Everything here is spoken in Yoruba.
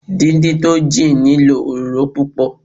Dín dín tó jìn nílò òróró púpọ̀.